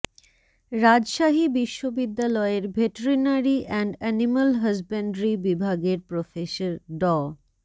রাজশাহী বিশ্ববিদ্যালয়ের veterinary and animal husbandry বিভাগের professor ড